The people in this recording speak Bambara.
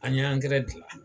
An y'angɛrɛ gilan